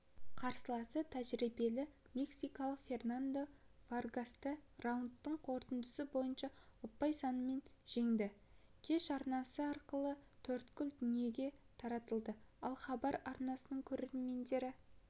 қарсыласы тәжірибелі мексикалық фернандо варгасты раундтың қорытындысы бойынша ұпай санымен жеңді кеш арнасы арқылы төрткүл дүниеге таратылды ал хабар арнасының көрермендері